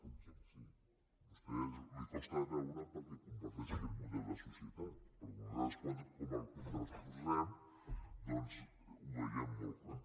a vostè li costa de veure perquè comparteix aquest model de societat però nosaltres com que el contraposem doncs ho veiem molt clar